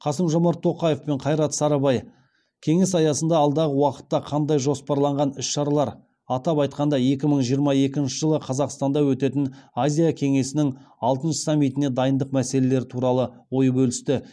қасым жомарт тоқаев пен қайрат сарыбай кеңес аясында алдағы уақытта жоспарланған іс шаралар атап айтқанда екі мың жиырма екінші жылы қазақстанда өтетін азия кеңесінің алтыншы саммитіне дайындық мәселелері туралы ой бөлісті